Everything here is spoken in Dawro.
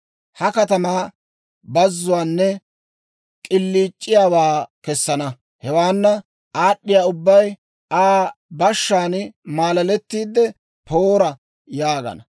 Ha katamaa bazuwaanne k'iliic'iyaawaa kessana. Hewaana aad'd'iyaa ubbay Aa bashshaan malaletiide, Poora! yaagana.